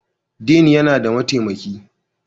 Dean yana da mataimaki